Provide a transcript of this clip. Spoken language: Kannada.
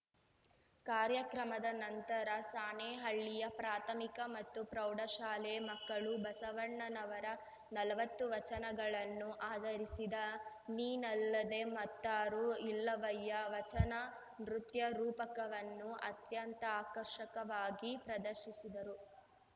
ಕಾರ್ಯಕ್ರಮದ ನಂತರ ಸಾಣೇಹಳ್ಳಿಯ ಪ್ರಾಥಮಿಕ ಮತ್ತು ಪ್ರೌಢಶಾಲೆ ಮಕ್ಕಳು ಬಸವಣ್ಣನವರ ನಲ್ವತ್ತು ವಚನಗಳನ್ನು ಆಧರಿಸಿದ ನೀನಲ್ಲದೆ ಮತ್ತಾರೂ ಇಲ್ಲವಯ್ಯಾ ವಚನ ನೃತ್ಯ ರೂಪಕವನ್ನು ಅತ್ಯಂತ ಆಕರ್ಷಕವಾಗಿ ಪ್ರದರ್ಶಿಸಿದರು